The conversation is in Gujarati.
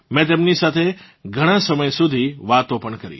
મેં તેમની સાથે ઘણાં સમય સુધી વાતો પણ કરી